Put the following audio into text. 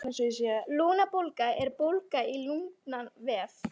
Lungnabólga er bólga í lungnavef.